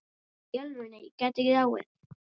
Í alvöru, ég gæti dáið.